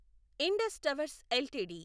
Indus Towers LTD